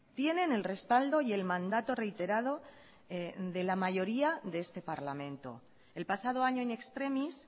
tienen el respaldo y el mandato reiterado de la mayoría de este parlamento el pasado año in extremis